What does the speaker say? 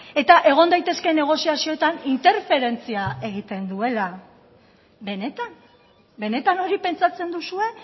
eta egon daitezkeen negoziazioetan interferentzia egiten duela benetan benetan hori pentsatzen duzue